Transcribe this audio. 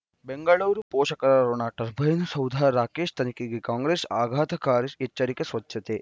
ಬೆಂಗಳೂರು ಪೋಷಕರಋಣ ಟರ್ಬೈನು ಸೌಧ ರಾಕೇಶ್ ತನಿಖೆಗೆ ಕಾಂಗ್ರೆಸ್ ಆಘಾತಕಾರಿ ಎಚ್ಚರಿಕೆ ಸ್ವಚ್ಛತೆ